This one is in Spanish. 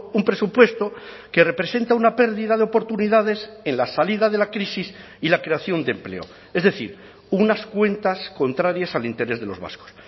un presupuesto que representa una pérdida de oportunidades en la salida de la crisis y la creación de empleo es decir unas cuentas contrarias al interés de los vascos